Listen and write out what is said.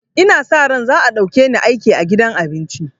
Ina sa ran za a ɗauke ni aiki a gidan abincin